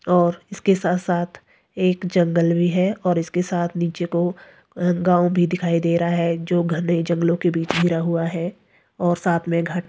और इसके साथ-साथ एक जंगल भी है और इसके साथ नीचे को गांव भी दिखाई दे रहा है जो घनई जंगलों के बीच घिरा हुआ है और साथ में घट--